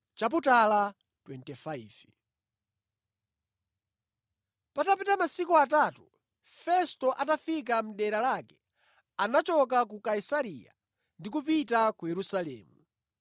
Patapita masiku atatu Festo atafika mʼdera lake, anachoka ku Kaisareya ndi kupita ku Yerusalemu.